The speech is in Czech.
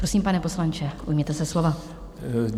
Prosím, pane poslanče, ujměte se slova.